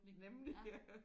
Nemlig ja